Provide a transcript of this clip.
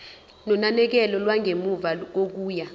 nonakekelo lwangemuva kokuya